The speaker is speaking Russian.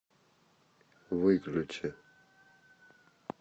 выключи